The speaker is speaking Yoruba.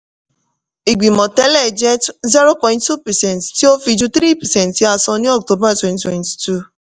ìgbìmọ̀ tẹ́lẹ̀ jẹ́ zero point two percent tí ó fi ju three percent tí a sọ ní october twenty twenty two